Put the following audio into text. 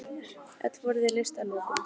Öll voru þau leyst að lokum.